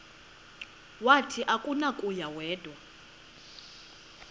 wathi akunakuya wedw